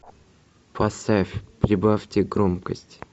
поставь прибавьте громкость